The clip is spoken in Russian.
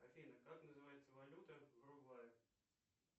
афина как называется валюта в уругвае